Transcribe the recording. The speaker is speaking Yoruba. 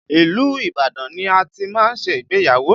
Ilu Ibadan ni a ti máa ṣe ìgbéyàwó